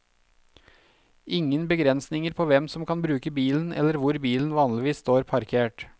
Ingen begrensninger på hvem som kan bruke bilen eller hvor bilen vanligvis står parkert.